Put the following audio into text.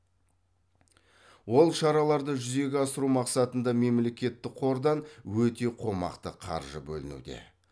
ол шараларды жүзеге асыру мақсатында мемлекеттік қордан өте қомақты қаржы бөлінуде